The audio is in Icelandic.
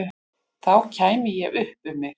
Þá kæmi ég upp um mig.